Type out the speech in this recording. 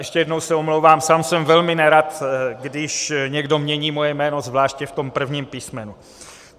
Ještě jednou se omlouvám, sám jsem velmi nerad, když někdo mění moje jméno, zvláště v tom prvním písmenu.